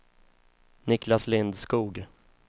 Niklas Lindskog